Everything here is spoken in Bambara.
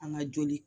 An ka joli